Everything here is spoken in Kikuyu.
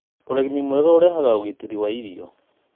ũrĩmi mwega ũrehaga ũgitĩri wa irio.